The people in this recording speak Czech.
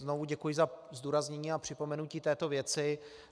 Znovu děkuji za zdůraznění a připomenutí této věci.